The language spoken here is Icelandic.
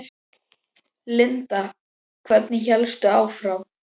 Linda: Hvernig hélstu áfram?